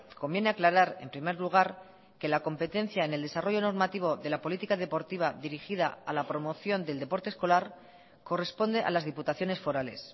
conviene aclarar en primer lugar que la competencia en el desarrollo normativo de la política deportiva dirigida a la promoción del deporte escolar corresponde a las diputaciones forales